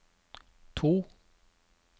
to